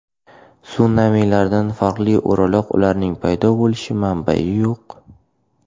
Sunamilardan farqli o‘laroq ularning paydo bo‘lish manbai yo‘q.